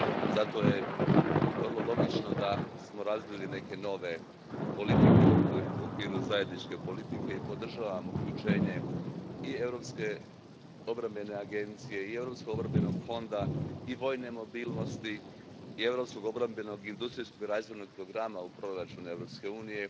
Zato je vrlo logično da smo razvili neke nove politike u okviru zajedničke politike i podržavam uključenje i Europske obrambene agencije i Europskog obrambenog fonda i vojne mobilnosti i europskog obrambenog i industrijskog razvojnog programa u proračun Europske unije,